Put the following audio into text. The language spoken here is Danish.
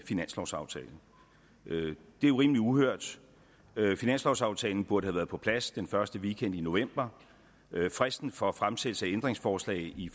finanslovsaftale det er jo rimelig uhørt finanslovsaftalen burde have været på plads den første weekend i november fristen for fremsættelse af ændringsforslag i